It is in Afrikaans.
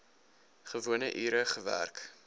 gewone ure gewerk